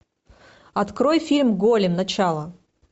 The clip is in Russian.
открой фильм голем начало